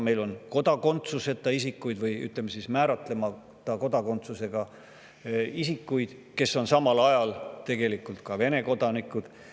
Meil on ka määratlemata kodakondsusega isikuid, kes on samal ajal Vene kodanikud.